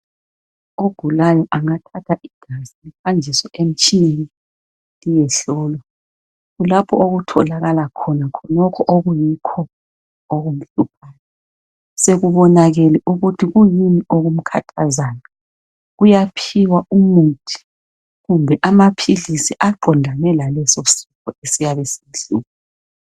Ogulayo angathatha igazi lihanjiswe emtshineni liyehlolwa kulapho okutholakala khona okuyikho okumhluphayo sekubonakele ukuthi kuyini okumkhathazayo uyaphiwa umuthi kumbe amaphilisi aqondane laleso sifo esiyabe simhlasele